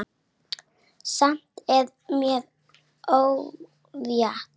Samt er mér órótt.